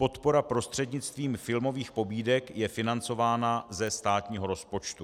Podpora prostřednictvím filmových pobídek je financována ze státního rozpočtu.